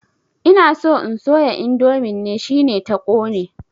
Ina so in soya indomin ne, shine ta ƙone.